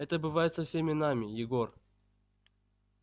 это бывает со всеми нами егор